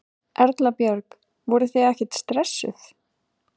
Erla Björg: Voruð þið ekkert stressuð?